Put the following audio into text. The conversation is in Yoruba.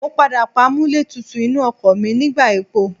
Mo padà pa amúlẹ̀tútù inú ọkọ̀ mi nígbà epo.